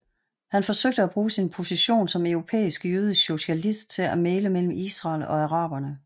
Han forsøgte at bruge sin position som europæisk jødisk socialist til at mægle mellem Israel og araberne